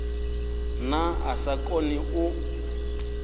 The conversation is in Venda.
nahone a sa koni u